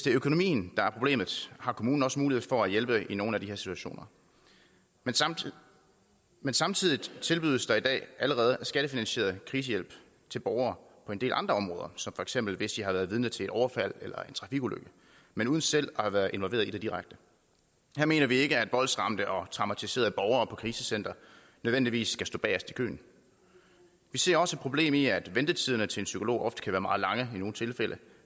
økonomien der er problemet har kommunen også mulighed for at hjælpe i nogle af de her situationer men samtidig men samtidig tilbydes der i dag allerede skattefinansieret krisehjælp til borgere på en del andre områder som for eksempel hvis de har været vidne til et overfald eller en trafikulykke men uden selv at have været involveret i det direkte her mener vi ikke at voldsramte og traumatiserede borgere på krisecentre nødvendigvis skal stå bagest i køen vi ser også et problem i at ventetiderne til en psykolog ofte kan være meget lange i nogle tilfælde